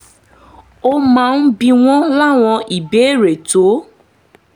ó máa ń bi wọ́n láwọn ìbéèrè tó